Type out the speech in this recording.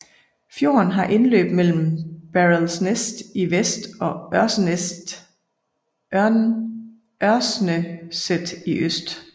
Fjorden har indløb mellem Baralsnest i vest og Ørsneset i øst